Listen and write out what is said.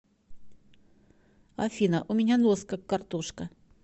афина у меня нос как картошка